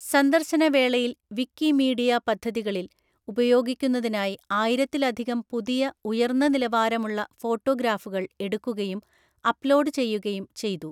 സന്ദർശന വേളയിൽ വിക്കിമീഡിയ പദ്ധതികളിൽ ഉപയോഗിക്കുന്നതിനായി ആയിരത്തിലധികം പുതിയ, ഉയർന്ന നിലവാരമുള്ള ഫോട്ടോഗ്രാഫുകൾ എടുക്കുകയും അപ്‌ലോഡ് ചെയ്യുകയും ചെയ്തു.